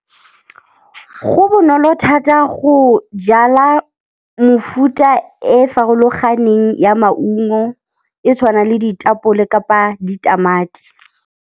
Go bonolo thata go jala mefuta e farologaneng ya maungo, e tshwana le ditapole kapa ditamati.